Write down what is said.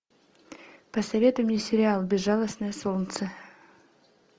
посоветуй мне сериал безжалостное солнце